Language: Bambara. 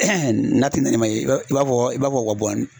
n'a tɛna i ma i b'a fɔ i b'a fɔ o ka bɔ ni